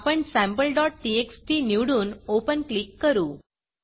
आपण sampleटीएक्सटी निवडून Openओपन क्लिक करू